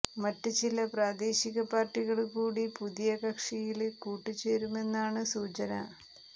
മറ്റ് ചില പ്രാദേശിക പാര്ട്ടികള് കൂടി പുതിയ കക്ഷിയില് കൂട്ടുചേരുമെന്നാണ് സൂചന